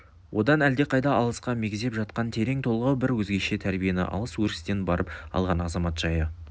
одан әлдеқайда алысқа мегзеп жатқан терең толғау бар өзгеше тәрбиені алыс өрістен барып алған азамат жайы